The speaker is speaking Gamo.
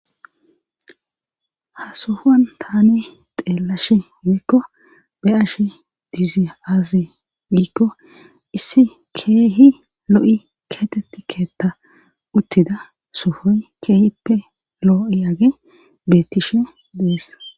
ha sohuwan tane xeellashe wiikko be ashe diizi aaze wiikko issi keehi lo7i keteti keetta uttida sohoy keehippe loo7i age beettishe dees